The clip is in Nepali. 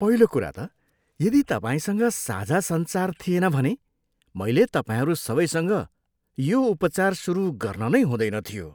पहिलो कुरा त यदि तपाईँसँग साझा सञ्चार थिएन भने मैले तपाईँहरू सबैसँग यो उपचार सुरु गर्न नै हुँदैन थियो।